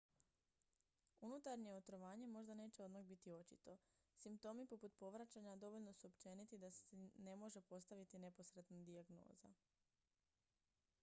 unutarnje otrovanje možda neće odmah biti očito simptomi poput povraćanja dovoljno su općeniti da se ne može postaviti neposredna dijagnoza